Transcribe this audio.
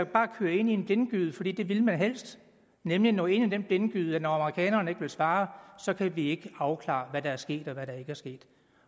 bare føre ind i en blindgyde for det det ville man helst nemlig nå ind i den blindgyde at når amerikanerne ikke ville svare kunne vi ikke afklare hvad der var sket og hvad der ikke var sket